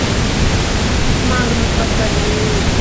магнус поставь